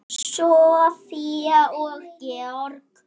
Soffía og Georg.